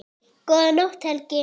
Góða nótt, Helgi.